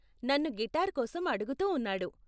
నన్ను గిటార్ కోసం అడుగుతూ ఉన్నాడు.